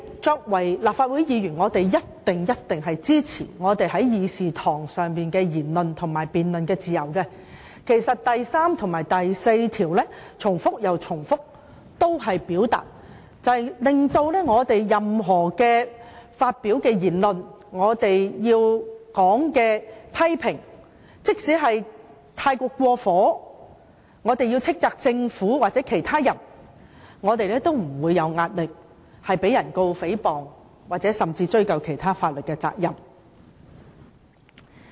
作為立法會議員，我們一定支持議事堂上的言論和辯論自由，《條例》第3條及第4條也強調我們發表的任何言論，即使批評過火，即使要斥責政府或任何人，我們也不會有壓力，因為我們不會被控告誹謗或追究其他法律責任。